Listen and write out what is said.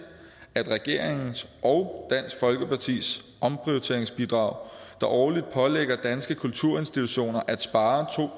at regeringens og dansk folkepartis omprioriteringsbidrag der årligt pålægger danske kulturinstitutioner at spare to